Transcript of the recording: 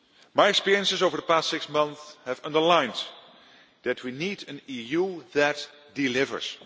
My experiences over the past six months have underlined that we need an EU that delivers.